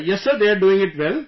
Yes Sir, they are doing it well